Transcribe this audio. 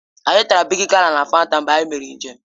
Anyị tara bịgị gala na Fanta mgbe anyị mere njem